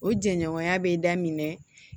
O jɛɲɔgɔnya bɛ daminɛ